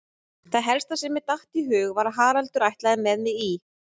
Það helsta sem mér datt í hug var að Haraldur ætlaði með mig í